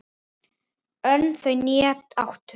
Önd þau né áttu